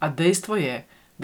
A dejstvo je,